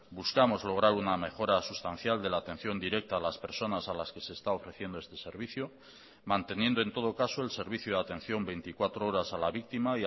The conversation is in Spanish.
buscamos lograr una mejora sustancial de la atención directa a las personas a las que se está ofreciendo este servicio manteniendo en todo caso el servicio de atención veinticuatro horas a la víctima